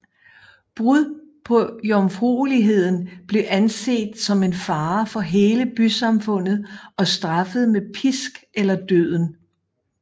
Brud på jomfrueligheden blev anset som en fare for hele bysamfundet og straffet med pisk eller døden